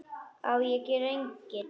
Á ég að gera engil?